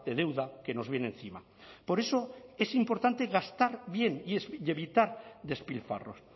deuda que nos viene encima por eso es importante gastar bien y evitar despilfarros